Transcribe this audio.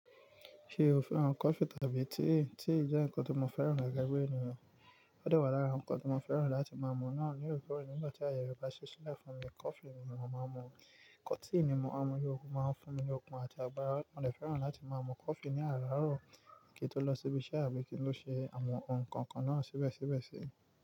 Ṣe o fẹ́ran kọfí tàbí tíì? Tíì jẹ́ nǹkan tí mo fẹ́ran gege bi eniyan. Ó de wà lára awon nǹkan tí mo fẹ́ran láti máa mú náà ní òre koo rè nígbà tí àyè re ba ṣi ṣilẹ́ fún mi, kọfí ni mò ń máa mú, Tíì ni mò ń máa mú, ó máa ń fún mi ni okun àti agbára. Mo de fẹ́ran láti máa mú kọfí ní àràárọ̀ kí n tó lọ síbi iṣẹ́ abí kí n ló ṣe àwọn nǹkan kan náà síbẹ̀síbẹ̀ sí.